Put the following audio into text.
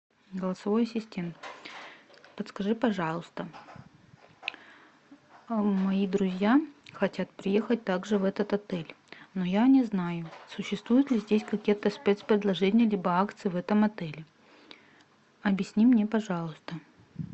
голосовой ассистент подскажи пожалуйста мои друзья хотят приехать также в этот отель но я не знаю существуют ли здесь какие то спецпредложения либо акции в этом отеле объясни мне пожалуйста